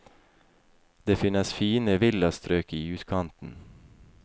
Det finnes fine villastrøk i utkanten.